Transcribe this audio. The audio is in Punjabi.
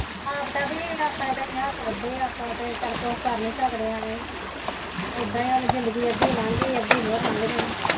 ਆਪ ਤਾਂ ਵੀ ਆਪਣੇ ਹੱਥ ਵੱਢੇ ਐਂ ਆਪਾਂ ਚਲ ਕੁੱਛ ਕਰ ਨੀ ਸਕਦੇ ਹੈਗੇ ਇਦਾਂ ਹੀ ਸਾਡੀ ਅੱਧੀ ਲੰਘ ਗਈ ਐਂ ਅੱਧੀ ਹੋਰ ਲੰਘ ਜਾਣੀ।